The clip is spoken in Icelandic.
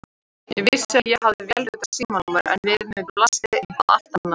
Ég vissi að ég hafði vélritað símanúmer en við mér blasti eitthvað allt annað.